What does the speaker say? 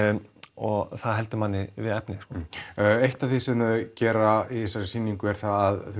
og það heldur manni við efnið eitt af því sem þau gera í sýningunni er að